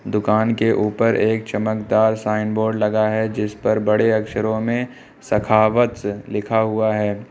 दुकान के ऊपर एक चमकदार साइन बोर्ड लगा है जिस पर बड़े अक्षरों में सखावत लिखा हुआ है।